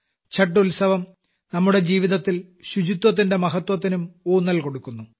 ഛഠ് ഉത്സവം നമ്മുടെ ജീവിതത്തിൽ ശുചിത്വത്തിന്റെ മഹത്വത്തിനും ഊന്നൽ കൊടുക്കുന്നു